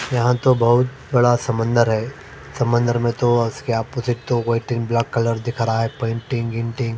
यहां तो बहुत बड़ा समंदर है। समंदर में तो उसके अपोजिट तो वाइटिंग ब्लैक कलर दिख रहा है पेंटिंग इंटिंग --